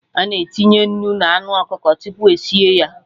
Ana etinye nnu na anụ ọkụkọ tupu esie ya